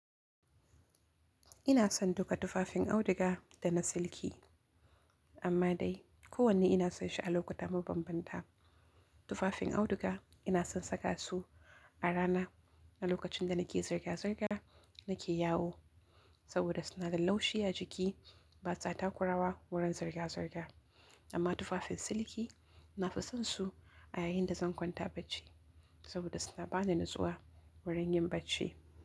Ina son duka tufafin auduga da na silki, amma dai kowanne ina so shi a lokuta mabanbanta. Tufafin auduga ina son saka su a rana lokacin da nake zirga-zirga nake yawo saboda suna da laushi a jiki basa takurawa wurin zirga-zirga. Amma tufafin silki na fi son su a yayin da zan kwanta bacci saboda suna bani nutsuwa wurin yin bacci.